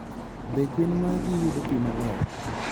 Be gwen magi yudo pi maler?